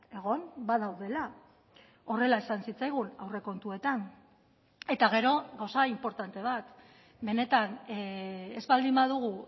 egon badaudela horrela esan zitzaigun aurrekontuetan eta gero gauza inportante bat benetan ez baldin badugu